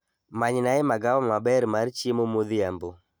Manynae magawa maber mar chiemo modhiambo